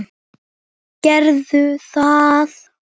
Gerðu það!